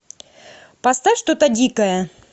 поставь что то дикое